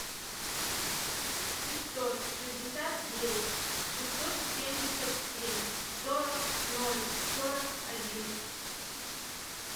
пятьсот шестьдесят девять шестьсот семьдесят семь сорок ноль сорок один